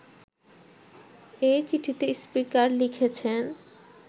এই চিঠিতে স্পিকার লিখেছেন